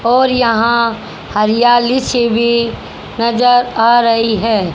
और यहां हरियाली सी भी नजर आ रही है।